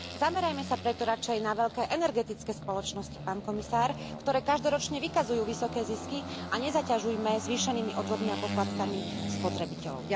Zamerajme sa preto radšej na veľké energetické spoločnosti, pán komisár, ktoré každoročne vykazujú vysoké zisky a nezaťažujme zvýšenými odvodmi a poplatkami spotrebiteľov.